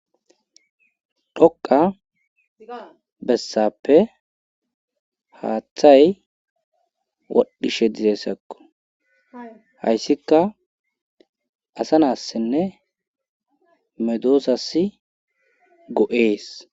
dhoqa bessappe haaththay wadhishe dizeessakko hayssika asa naassinne medoosassi go7ees